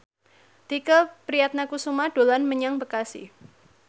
Tike Priatnakusuma dolan menyang Bekasi